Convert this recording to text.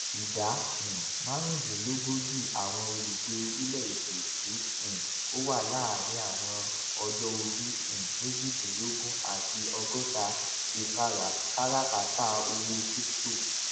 ìdá um márùúndínlógójì àwọn olùgbé orílẹèdè tí um ó wà láàárín àwọn ọjọorí um méjìdínlógún àti ọgọta ṣe káràkátà owó crypto